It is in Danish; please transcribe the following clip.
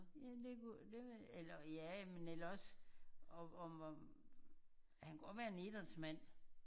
Ja det kunne det ville eller ja men ellers også om og han kunne også være en idrætsmand